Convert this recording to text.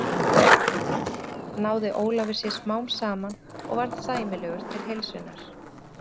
Eftir skurðaðgerðina náði Ólafur sér smám saman og varð sæmilegur til heilsunnar.